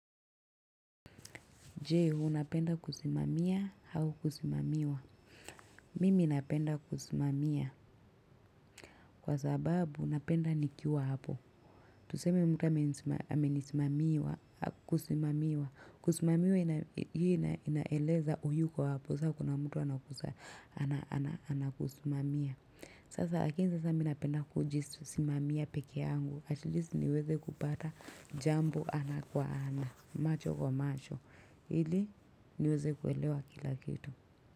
Je, unapenda kusimamia au kusimamiwa. Mimi napenda kusimamia kwa sababu napenda nikiwa hapo. Tuseme mtu amenisimamia kusimamiwa. Kusimamiwa hiyo inaeleza huyuko hapo. Sasa kuna mtu anakusimamia. Sasa lakini sasa mimi napenda kujisimamia peke yangu Atleast niweze kupata jambo ana kwa ana macho kwa macho ili niweze kuelewa kila kitu.